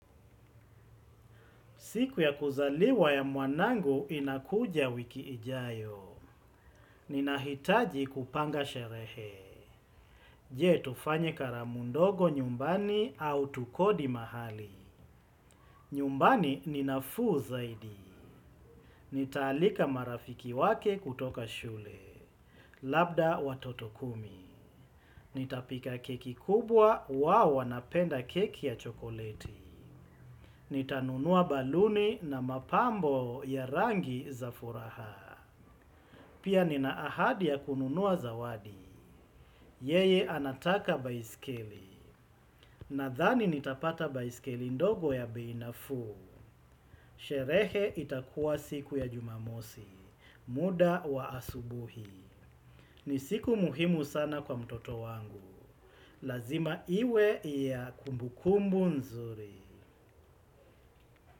Siku ya kuzaliwa ya mwanangu inakuja wiki ijayo. Ninahitaji kupanga sherehe. Je tufanye karamu ndogo nyumbani au tukodi mahali. Nyumbani ni nafuu zaidi. Nitaalika marafiki wake kutoka shule. Labda watoto kumi. Nitapika keki kubwa wao wanapenda keki ya chokoleti. Nitanunua baluni na mapambo ya rangi za furaha. Pia nina ahadi ya kununua zawadi, yeye anataka baiskeli, nadhani nitapata baiskeli ndogo ya bei nafuu, sherehe itakuwa siku ya jumamosi, muda wa asubuhi, ni siku muhimu sana kwa mtoto wangu, lazima iwe ya kumbukumbu nzuri.